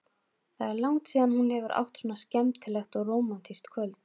Það er langt síðan hún hefur átt svona skemmtilegt og rómantískt kvöld.